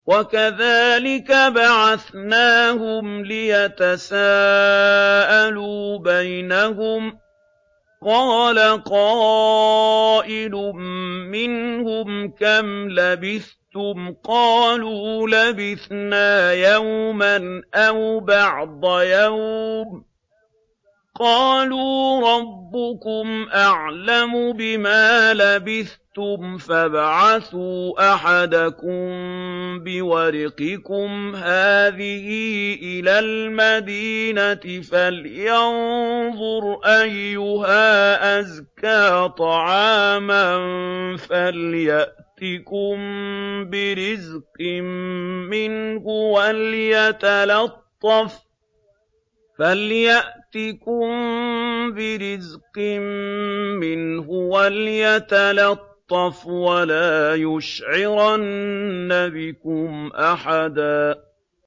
وَكَذَٰلِكَ بَعَثْنَاهُمْ لِيَتَسَاءَلُوا بَيْنَهُمْ ۚ قَالَ قَائِلٌ مِّنْهُمْ كَمْ لَبِثْتُمْ ۖ قَالُوا لَبِثْنَا يَوْمًا أَوْ بَعْضَ يَوْمٍ ۚ قَالُوا رَبُّكُمْ أَعْلَمُ بِمَا لَبِثْتُمْ فَابْعَثُوا أَحَدَكُم بِوَرِقِكُمْ هَٰذِهِ إِلَى الْمَدِينَةِ فَلْيَنظُرْ أَيُّهَا أَزْكَىٰ طَعَامًا فَلْيَأْتِكُم بِرِزْقٍ مِّنْهُ وَلْيَتَلَطَّفْ وَلَا يُشْعِرَنَّ بِكُمْ أَحَدًا